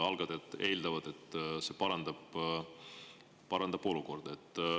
Algatajad eeldavad, et see parandab olukorda.